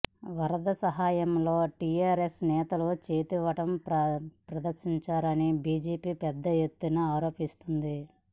వరద సహాయంలో టీఆర్ఎస్ నేతల చేతివాటం ప్రదర్శించారని బీజేపీ పెద్ద ఎత్తున ఆరోపిస్తోంది